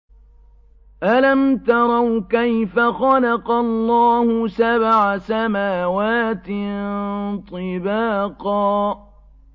أَلَمْ تَرَوْا كَيْفَ خَلَقَ اللَّهُ سَبْعَ سَمَاوَاتٍ طِبَاقًا